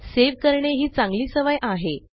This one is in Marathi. सेव्ह करणे ही चांगली सवय आहे